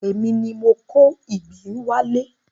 Èmi ni mo kó ìgbín wá lé.